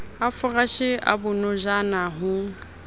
a foreshe a bonojana ho